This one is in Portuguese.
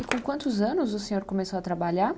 E com quantos anos o senhor começou a trabalhar?